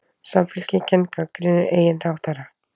Samfylkingin gagnrýnir eigin ráðherra